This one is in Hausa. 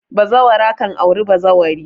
Bazawara kan aure bazawari